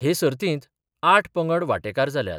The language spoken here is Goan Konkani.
हे सर्तींत आठ पंगड वांटेकार जाल्यात.